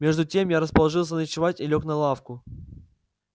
между тем я расположился ночевать и лёг на лавку